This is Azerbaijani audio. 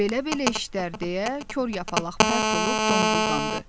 Belə-belə işlər, deyə kor yapalaq pərt olub donquldandı.